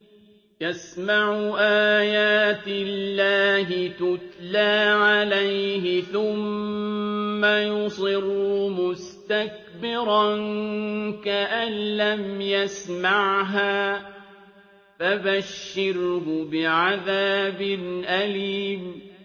يَسْمَعُ آيَاتِ اللَّهِ تُتْلَىٰ عَلَيْهِ ثُمَّ يُصِرُّ مُسْتَكْبِرًا كَأَن لَّمْ يَسْمَعْهَا ۖ فَبَشِّرْهُ بِعَذَابٍ أَلِيمٍ